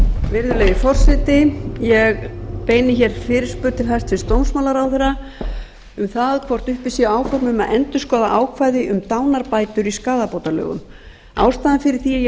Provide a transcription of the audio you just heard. virðulegi forseti ég beini hér fyrirspurn til hæstvirts dómsmálaráðherra um það hvort uppi séu áform um að endurskoða ákvæði um dánarbætur í skaðabótalögum ástæðan fyrir því að ég